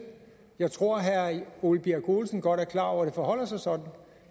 jeg tror at herre ole birk olesen godt er klar over at det forholder sig sådan